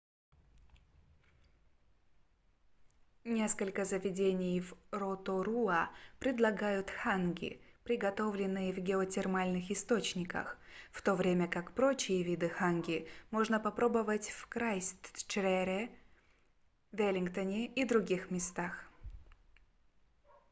несколько заведений в роторуа предлагают ханги приготовленные в геотермальных источниках в то время как прочие виды ханги можно попробовать в крайстчерче веллингтоне и других местах